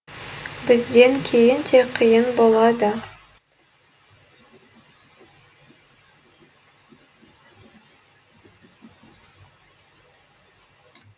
бізден кейін де қиын болады